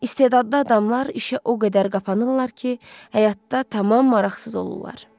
İstedadlı adamlar işə o qədər qapanırlar ki, həyatda tamam maraqsız olurlar.